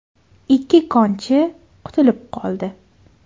Ikki konchi qutulib qoldi.